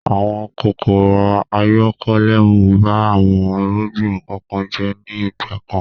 Àwọn kòkòrò-ayọkolẹ́nu ba àwọn irúgbìn kọ̀ọ̀kan jẹ́ ní ìgbà kan.